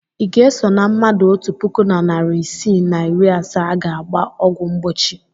Ị ga-eso na mmadụ otu puku na narị isii na iri asaa a ga-agba ọgwụ mgbochi?